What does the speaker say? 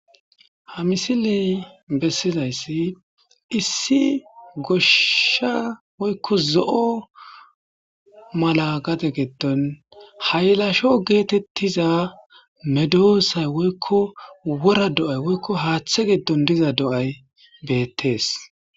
Ha misiley bessizayssi issi goshsha woykko zo7o mala gate geddon haylasho geetettiza medoosay woykko wora do'ay woykko haaththe giddon diza do7ay beettees.